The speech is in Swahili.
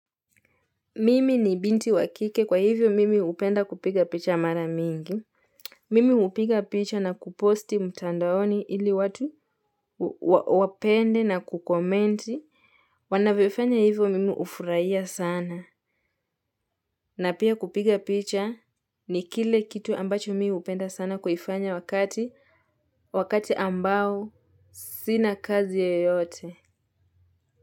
Mimi ni binti wa kike kwa hivyo mimi hupenda kupiga picha mara mingi. Mimi hupiga picha na kuposti mtandaoni ili watu wapende na kukomenti. Wanavyofanya hivyo mimi hufurahia sana. Na pia kupiga picha ni kile kitu ambacho mimi hupenda sana kuifanya wakati ambao sina kazi yoyote.